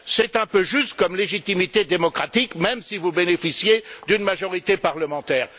C'est un peu juste comme légitimité démocratique, même si vous bénéficiez d'une majorité parlementaire.